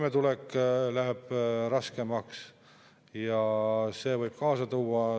Meil tuleb täna veel riigieelarve ümbertõstmise, meie Kliimaministeeriumile antakse suuniseid raha kulutamiseks.